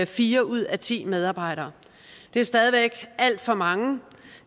fire ud af ti medarbejdere det er stadig væk alt for mange